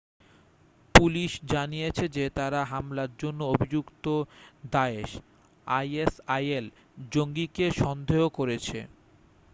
Police জানিয়েছে যে তারা হামলার জন্য অভিযুক্ত দায়েশ isil জঙ্গিকে সন্দেহ করেছে।